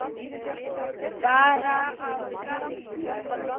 Bara að gamni.